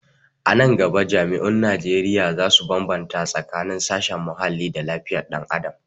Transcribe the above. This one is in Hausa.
A nan gaba jami'un Najeriya za su bambata tsakanin sashen muhalli da lafiyar dan adam